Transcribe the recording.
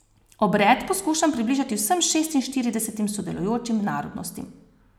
Obred poskušam približati vsem šestinštiridesetim sodelujočim narodnostim.